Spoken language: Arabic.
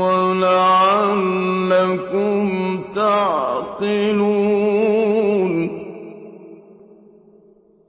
وَلَعَلَّكُمْ تَعْقِلُونَ